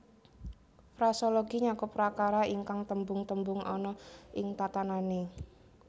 Frasologi nyakup prakara ingkang tembung tembung ana ing tatanané